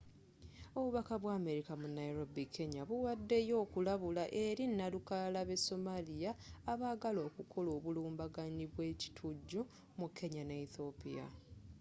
obubaka bwa amerika mu nairobi kenya buwaddeyo okulabula eri nnalukalala b'e somalia” abaagala okukola obulumbaganyi bwe ekitujju mu kenya ne ethiopia